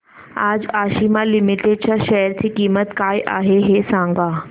आज आशिमा लिमिटेड च्या शेअर ची किंमत काय आहे हे सांगा